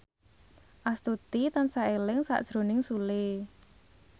Astuti tansah eling sakjroning Sule